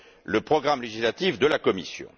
le programme législatif de la Commission.